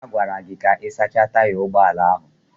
A gwara gị ka ị sachaa taya ụgbọ ala ahụ.